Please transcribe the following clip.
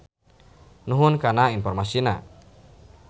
Nuhun kana informasina.